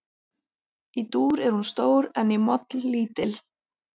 Í dúr er hún stór en í moll lítil.